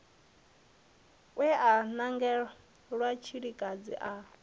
we a nangelwa tshilikadzi a